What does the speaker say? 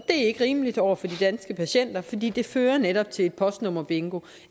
er ikke rimeligt over for de danske patienter fordi det fører netop til et postnummerbingo